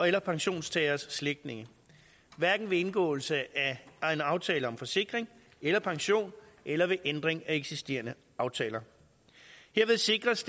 eller pensionstageres slægtninge hverken ved indgåelse af egen aftale om forsikring eller pension eller ved ændring af eksisterende aftaler herved sikres